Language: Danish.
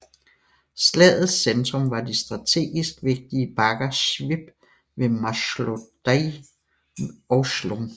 Slagets centrum var de strategisk vigtige bakker Svib ved Máslojedy og Chlum